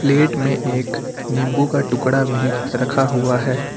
Plate में एक नींबू का टुकड़ा भी रखा हुआ है।